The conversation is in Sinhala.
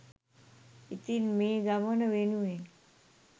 ඉතින් මේ ගමන වෙනුවෙන්